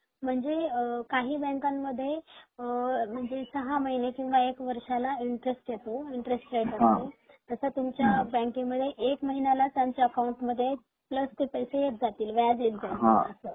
म्हणजे काही बँकांमध्ये सहा महिने किंवा एक वर्षाला इंटरेस्ट येतो इंटरेस्ट रेट येतो तसा तुमच्या बँकेमध्ये एक महिन्या ला प्लस चे पैसे येत जातील व्याज येत जाईल अस